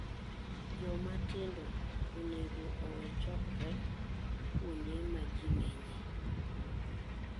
Jomatindo onego owe chokre kuonde ma ji ng'enye.